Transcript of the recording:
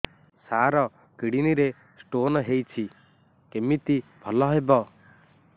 ସାର kidney ରେ stone ହେଇଛି କମିତି ଭଲ ହେବ